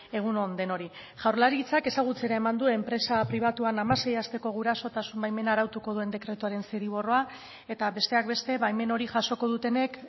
egun on denoi jaurlaritzak ezagutzera eman du enpresa pribatuan hamasei asteko gurasotasun baimena arautuko duen dekretuaren zirriborroa eta besteak beste baimen hori jasoko dutenek